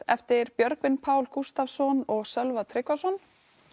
eftir Björgvin Pál Gústavsson og Sölva Tryggvason